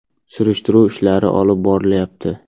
Surishtiruv ishlari olib borilyapti.